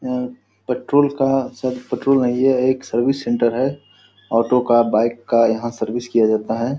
यह पेट्रोल का शायद पेट्रोल नहीं है एक सर्विस सेंटर है। ऑटो का बाइक का यहाँ सर्विस किया जाता है।